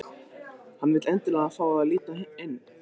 Hann vill endilega fá að líta inn.